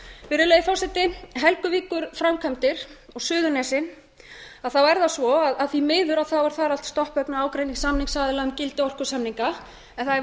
virðulegi forseti helguvíkurframkvæmdir og suðurnesin þá er það svo að því miður er þar allt stopp vegna ágreinings samningsaðila um gildi orkusamninga en það er